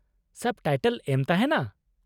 ᱥᱟᱵ ᱴᱟᱭᱴᱮᱞ ᱮᱢ ᱛᱟᱦᱮᱱᱟ ?